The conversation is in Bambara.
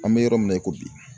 An bɛ yɔrɔ min na i ko bi.